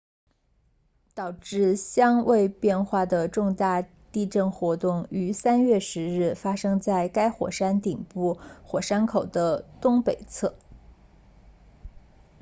导致相位变化的重大地震活动于3月10日发生在该火山顶部火山口的东北侧